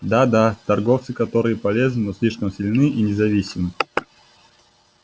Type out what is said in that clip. да да торговцы которые полезны но слишком сильны и независимы